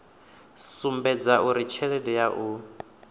sumbedza uri tshelede ya u